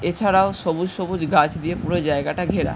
এছাড়াও সবুজ সুবুজ গাছ দিয়ে পুরো জায়গাটা ঘেরা ।